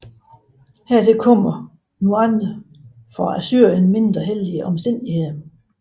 Hertil kom nu andre for Assyrien mindre heldige omstændigheder